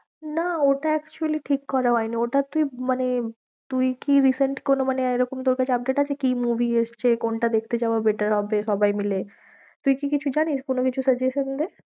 না, ওটা actually ঠিক করা হয়নি, ওটা তুই মানে তুই কি recent কোনো মানে এরকম তোর কাছে update আছে, কি movie এসছে, কোনটা দেখতে যাওয়া better হবে সবাই মিলে তুই কি কিছু জানিস? কোনো কিছু suggestion দে?